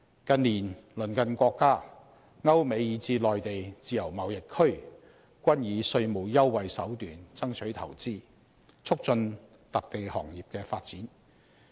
近年，鄰近國家、歐美以至內地自由貿易區均以稅務優惠手段爭取投資，促進特定行業的發展。